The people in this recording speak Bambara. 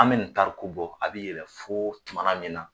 An be nin tariku bɔ , a be yɛlɛ fo tuma min na